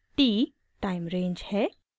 t time range है